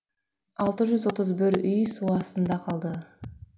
алты жүз отыз бір үй су астына қалды